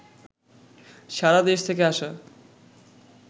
সারাদেশ থেকে আসা